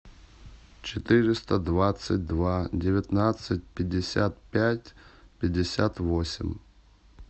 четыреста двадцать два девятнадцать пятьдесят пять пятьдесят восемь